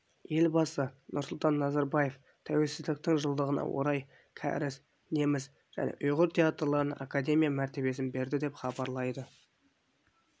елбасы нұрсұлтан назарбаев тәуелсіздіктің жылдығына орай кәріс неміс және ұйғыр театрларына академия мәртебесін берді деп хабарлайды